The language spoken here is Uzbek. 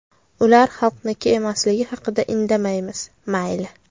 Ular xalqniki emasligi haqida indamaymiz, mayli.